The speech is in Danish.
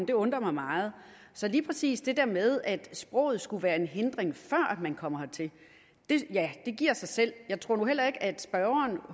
det undrer mig meget så lige præcis det her med at sproget skulle være en hindring før man kommer hertil ja det giver sig selv jeg tror nu heller ikke at spørgeren